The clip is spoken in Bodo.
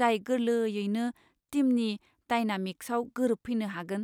जाय गोरलैयैनो टिमनि डायनामिक्सआव गोरोबफैनो हागोन!